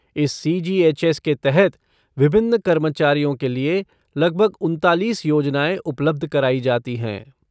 इस C G H S के तहत विभिन्न कर्मचारियों के लिए लगभग उनतालीस योजनाएँ उपलब्ध कराई जाती हैं।